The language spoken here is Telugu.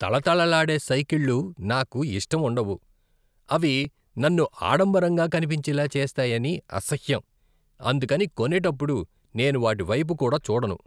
తళ తళలాడే సైకిళ్ల నాకు ఇష్టముండవు, అవి నన్ను ఆడంబరంగా కనిపించేలా చేస్తాయని అసహ్యం, అందుకని కొనేటప్పుడు నేను వాటి వైపు కూడా చూడను.